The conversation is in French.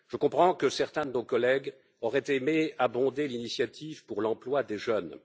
Je comprends que certains de nos collègues auraient aimé abonder l'initiative pour l'emploi des jeunes.